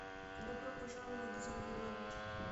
добро пожаловать в зомбилэнд